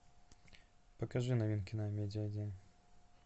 покажи новинки на амедиа один